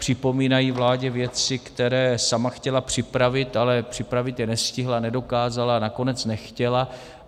Připomínají vládě věci, které sama chtěla připravit, ale připravit je nestihla, nedokázala, nakonec nechtěla.